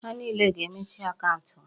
Ha niile ga-emechi akaụntụ ha!